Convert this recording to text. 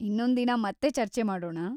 ಇನ್ನೊಂದಿನ ಮತ್ತೆ ಚರ್ಚೆ ಮಾಡೋಣ.